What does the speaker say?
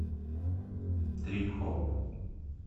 трип хоп